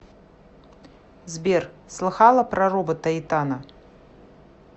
сбер слыхала про робота итана